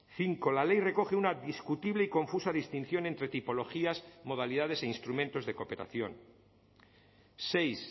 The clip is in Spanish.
cinco la ley recoge una discutible y confusa distinción entre tipologías modalidades e instrumentos de cooperación seis